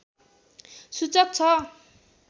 सूचक छ